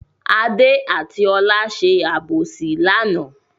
Adé àti Ọlá ṣe àbòsí lánàá.